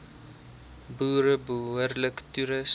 boere behoorlik toerus